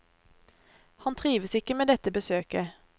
Han trives ikke med dette besøket.